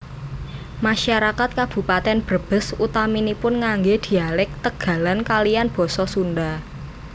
Masarakat Kabupatèn Brebes utaminipun nganggé dhialèk Tegalan kaliyan basa Sundha